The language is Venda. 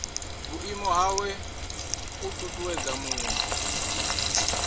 vhuimo hawe u ṱuṱuwedza muṅwe